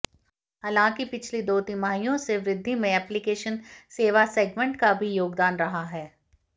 हालांकि पिछली दो तिमाहियों से वृद्घि में ऐप्लीकेशन सेवा सेगमेंट का भी योगदान रहा है